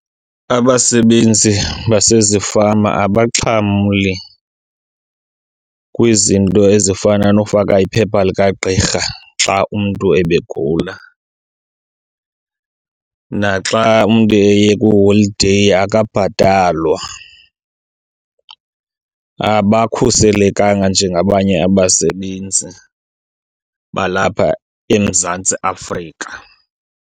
Abasebenzi basezifama abaxhamli kwizinto ezifana nokufaka iphepha likagqirha xa umntu ebe gula. Naxa umntu eye kwiholideyi akabhatalwa. Abakhuselekanga njengabanye abasebenzi balapha eMzantsi Afrika.